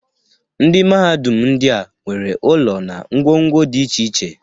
Ndị mahadum ndịa nwere ụlọ na ngwo ngwo dị iche iche.